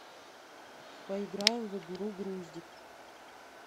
поиграем в игру груздик